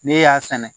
Ne y'a sɛnɛ